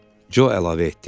Co əlavə etdi.